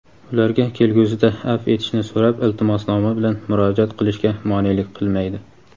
ularga kelgusida afv etishni so‘rab iltimosnoma bilan murojaat qilishga monelik qilmaydi.